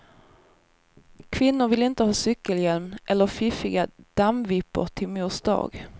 Kvinnor vill inte ha cykelhjälm eller fiffiga dammvippor till mors dag.